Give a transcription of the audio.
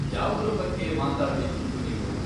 ಯಾವ್ದ್ರ ಬಗ್ಗೆ ಮಾತಾಡ್ಬೇಕಿತ್ತು ನೀವು?